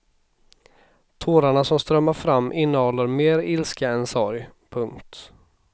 Tårarna som strömmar fram innehåller mer ilska än sorg. punkt